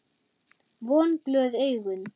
Vonglöð augun.